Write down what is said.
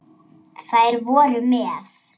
Þær voru með